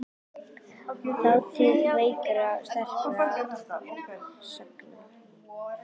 Þátíð veikra og sterkra sagna.